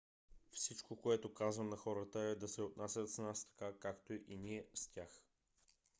всичко което казвам на хората е да се отнасят с нас така както ние с тях